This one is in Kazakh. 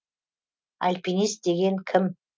альпинист деген кім